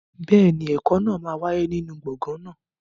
Bẹ́ẹ̀ni, ẹ̀kọ́ náà máa wáyé nínú gbọ̀ngàn náà.